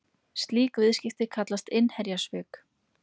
Slík viðskipti kallast innherjasvik.